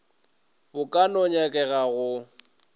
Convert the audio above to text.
bo ka no nyakegago go